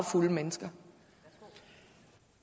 for unge mennesker